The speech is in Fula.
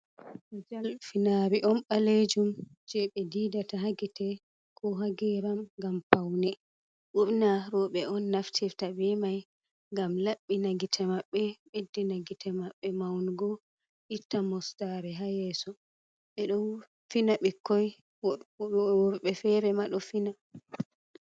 "Kajal" finari on ɓalejum je ɓe finata ha gite ko ha geram ngam paune ɓurna robe on naftirta be mai ngam laɓɓina gite maɓɓe beddina gite maɓɓe maungo itta mostare ha yeso ɓeɗo fina bikkoi worɓe fere maɗo fina.